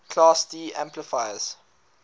class d amplifiers